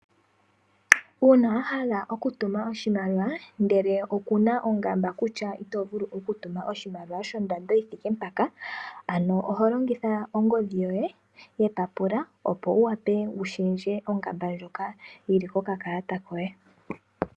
Uuna wahala okutuma oshimaliwa, ndele okuna ongamba kutya itovulu okutuma oshimaliwa shondando yithike mpaka, ano oho longitha ongodhi yoye yepapula, opo wuwape wushendje ongamba ndjoka yi li kokakalata koye.